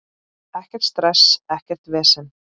Ekkert stress, ekkert vesen.